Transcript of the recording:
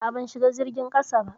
A'a, ban shiga jirgin ƙasa ba.